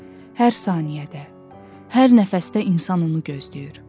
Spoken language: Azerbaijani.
Hər saniyədə, hər nəfəsdə insan onu gözləyir.